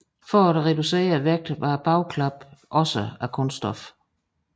For at reducere vægten var bagklappen ligeledes af kunststof